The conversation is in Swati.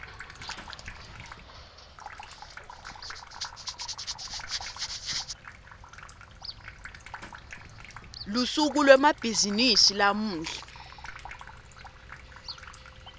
lusuku lwemabhizimisi lamuhla